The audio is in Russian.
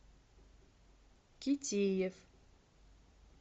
китиев